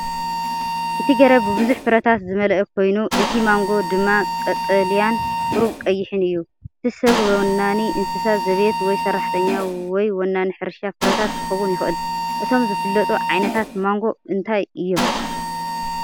እቲ ገረብ ብብዙሕ ፍረታት ዝመልአ ኮይኑ፡ እቲ ማንጎ ድማ ቀጠልያን ቁሩብ ቀይሕን እዩ። እቲ ሰብ ወናኒ እንስሳ ዘቤት ወይ ሰራሕተኛ ወይ ወናኒ ሕርሻ ፍረታት ክኸውን ይኽእል። እቶም ዝፍለጡ ዓይነታት ማንጎ እንታይ እዮም?